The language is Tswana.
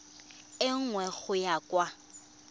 e nngwe go ya kwa